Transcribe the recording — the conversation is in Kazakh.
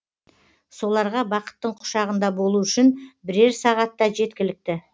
соларға бақыттың құшағында болу үшін бірер сағатта жеткілікті